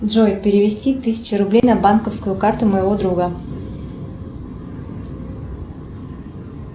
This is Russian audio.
джой перевести тысячу рублей на банковскую карту моего друга